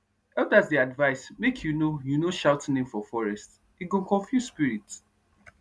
elders dey advise make you no you no shout name for forest e go confuse spirits